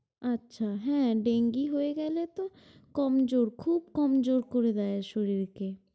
আচ্ছা হ্যাঁ, Dengi হয়ে গেলে তো কমজোর খুব কমজোর করে দেয় শরীরকে।